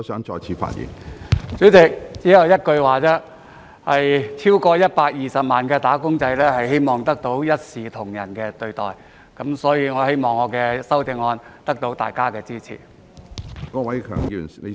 主席，只有一句話，超過120萬"打工仔"希望得到一視同仁的對待，所以我希望我的修正案得到大家的支持。